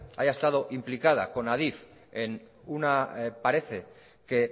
haya estado implicada con adif en una parece que